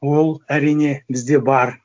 ол әрине бізде бар